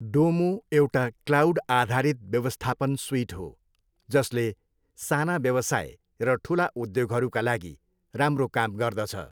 डोमो एउटा क्लाउड आधारित व्यवस्थापन सुइट हो, जसले साना व्यवसाय र ठुला उद्योगहरूका लागि राम्रो काम गर्दछ।